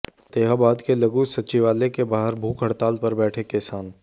फतेहाबाद के लघु सचिवालय के बाहर भूख हड़ताल पर बैठे किसान